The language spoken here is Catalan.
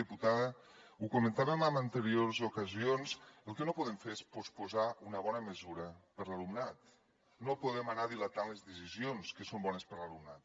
diputada ho comentàvem en anteriors ocasions el que no podem fer és posposar una bona mesura per a l’alumnat no podem anar dilatant les decisions que són bones per a l’alumnat